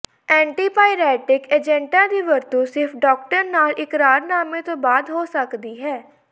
antipyretic ਏਜੰਟਾਂ ਦੀ ਵਰਤੋਂ ਸਿਰਫ ਡਾਕਟਰ ਨਾਲ ਇਕਰਾਰਨਾਮੇ ਤੋਂ ਬਾਅਦ ਹੋ ਸਕਦੀ ਹੈ